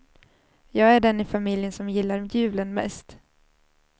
Jag är den i familjen som gillar julen mest.